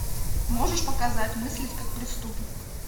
можешь показать мыслить как преступник